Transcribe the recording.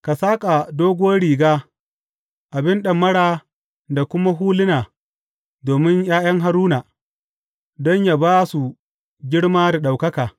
Ka saƙa doguwar riga, abin ɗamara da kuma huluna domin ’ya’yan Haruna, don yă ba su girma da ɗaukaka.